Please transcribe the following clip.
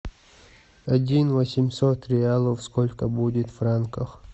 один восемьсот реалов сколько будет франков